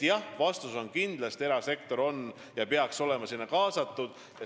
Vastus on kindlasti jah, erasektor peaks olema sinna kaasatud.